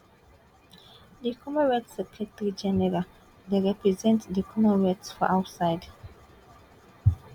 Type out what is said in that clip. di commonwealth secretary general dey represent di commonwealth for outside